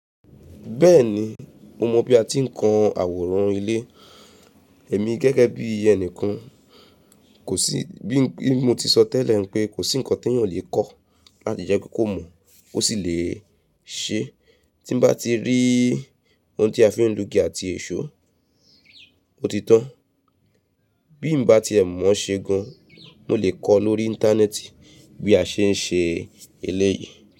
Bẹ́ẹ̀ni, mo mọ bí a ti ń kan àwòrán ilé. Ẹ̀mi gẹ́gẹ́ bí ẹnìkan. Kò sí, bí mo ti sọ tẹ́lẹ̀ pé kò sí ǹkan tí èèyàn o lè kọ́, lati jẹ́ kó mọ̀ ó sì lè ṣe. Tí nbá ti rí ohun tí a fi ń lú ìgì àti èṣó, o ti tan. Bí mbá ti ẹ̀ mọ̀ ṣe gan, mo lè kọ lórí Íńtánẹ́ẹ̀tì bí a ṣe ń ṣe eléyìí.